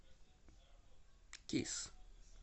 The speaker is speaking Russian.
кисс